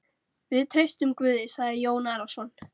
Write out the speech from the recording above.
Við treystum Guði, sagði Jón Arason.